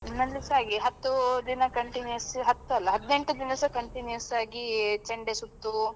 ನಮ್ಮಲ್ಲಿಸಾ ಹಾಗೆ ಹತ್ತು ದಿನ continuous ಹತ್ತಲ್ಲ ಹದಿನೆಂಟು ದಿವಸ continuous ಆಗಿ ಚೆಂಡೆ ಸುತ್ತು,